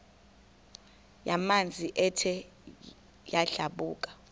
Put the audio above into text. yamanzi ethe yadlabhuka